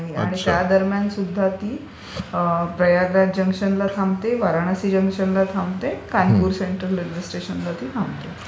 नाही, नाही. आणि त्या दरम्यान सुद्धा ती प्रयागराज जंक्शनला थांबते, वाराणसी जंक्शनला थांबते, कानपुर सेंट्रल रेल्वे स्टेशनला ती थांबते.